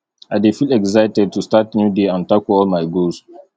i dey feel excited to start new day and tackle all my goals